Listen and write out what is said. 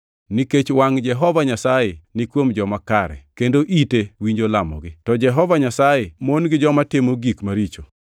Nikech wangʼ Jehova Nyasaye ni kuom joma kare kendo ite winjo lamogi, to Jehova Nyasaye mon gi joma timo gik maricho.” + 3:12 \+xt Zab 34:12-16\+xt*